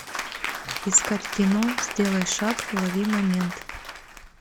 искать кино сделай шаг лови момент